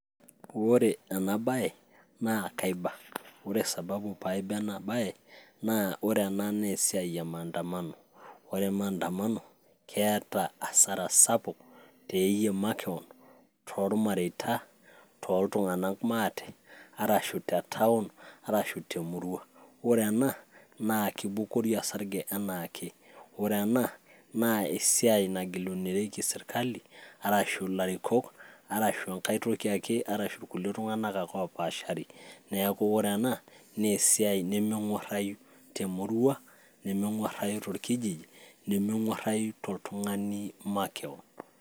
ore ena baye naa kaiba ore sababu paiba ena baye naa ore ena naa esiai e maandamano ore maandamano keeta asara sapuk teyie makewon tormareita toltung'anak maate arashu te town arashu temurua ore ena naa kibukori osarge enaake ore ena naa esiai nagilunoreki sirkali arashu ilarikok arashu enkae toki ake arashu irkulikae tung'anak ake opashari neeku ore ena naa esiai nemeng'uarrai temurua nemeng'uarrai torkijiji nemeng'uarai toltung'ani makewon.